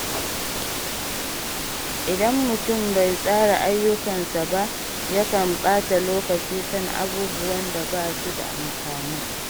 Idan mutum bai tsara ayyukansa ba, yakan ɓata lokaci kan abubuwan da ba su da amfani.